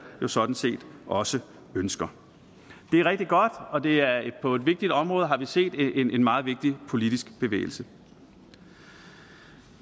sådan set også ønsker det er rigtig godt og det er på et vigtigt område at vi har set en meget vigtig politisk bevægelse